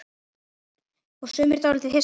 Og sumir dálítið hissa?